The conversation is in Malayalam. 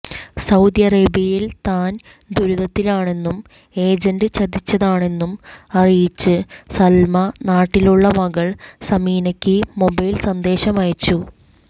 സൌദി അറേബ്യയിൽ താൻ ദുരിദത്തിലാണെന്നും ഏജന്റ് ചതിച്ചതാണെന്നും അറിയിച്ച് സൽമ നാട്ടിലുള്ള മകൾ സമീനക്ക് മൊബൈൽ സന്ദേശമയച്ചു